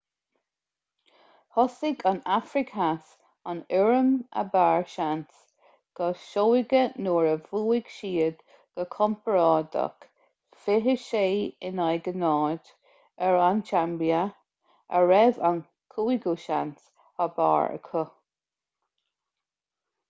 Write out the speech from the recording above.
thosaigh an afraic theas an fhoireann ab fhearr seans go seoighe nuair a bhuaigh siad go compordach 26 - 00 ar an tsaimbia a raibh an cúigiú seans ab fhearr acu